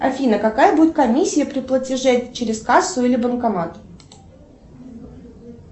афина какая будет комиссия при платеже через кассу или банкомат